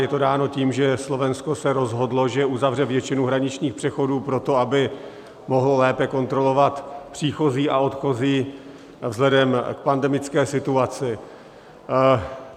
Je to dáno tím, že Slovensko se rozhodlo, že uzavře většinu hraničních přechodů proto, aby mohlo lépe kontrolovat příchozí a odchozí vzhledem k pandemické situaci.